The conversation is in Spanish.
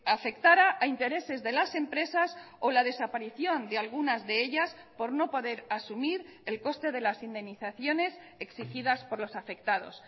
afectara a intereses de las empresas o la desaparición de algunas de ellas por no poder asumir el coste de las indemnizaciones exigidas por los afectados